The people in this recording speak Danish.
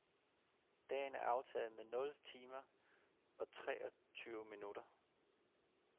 Dagen er aftaget med nul timer og treogtyve minutter.